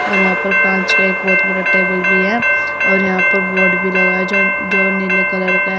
और यहां पर कांच का एक बहुत बड़ा टेबल भी है और यहां पर बोर्ड भी लगा है ज जो नीले कलर का --